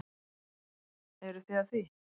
Eruð þið að því?